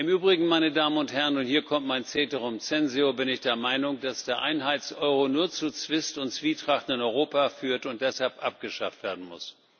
Im Übrigen, meine Damen und Herren hier kommt mein Ceterum censeo bin ich der Meinung, dass der Einheits Euro nur zu Zwist und Zwietracht in Europa führt und deshalb abgeschafft werden muss.